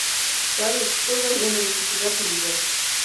салют что за ненависть у тебя к людям